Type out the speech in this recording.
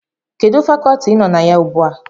Kedụ Fakọọti ị nọ na ya ugbu a?